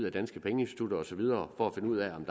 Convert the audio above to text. af danske pengeinstitutter og så videre for at finde ud af om